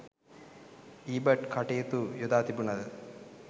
ඊබට් කටයුතු යොදා තිබුණද